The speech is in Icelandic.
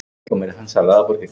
Ég bjó þar um tíma.